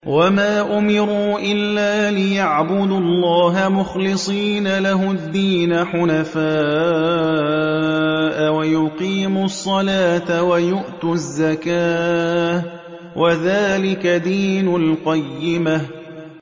وَمَا أُمِرُوا إِلَّا لِيَعْبُدُوا اللَّهَ مُخْلِصِينَ لَهُ الدِّينَ حُنَفَاءَ وَيُقِيمُوا الصَّلَاةَ وَيُؤْتُوا الزَّكَاةَ ۚ وَذَٰلِكَ دِينُ الْقَيِّمَةِ